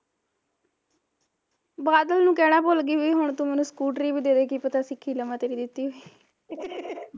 ਬਾਦਲ ਨੂੰ ਕਹਿਣਾ ਭੁੱਲ ਗਈ ਵੀ ਹੁਣ ਤੂੰ ਮੈਨੂੰ ਸਕੂਟਰੀ ਵੀ ਦੇਦੇ ਕੀ ਪਤਾ ਸਿੱਖ ਈ ਲਵਾਂ ਤੇਰੀ ਦਿੱਤੀ ਹੋਈ